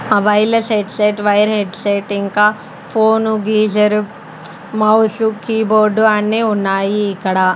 ఆ wireless headset wire headset ఇంకా phone geyser mouse keyboard అన్నీ ఉన్నాయి ఇక్కడ--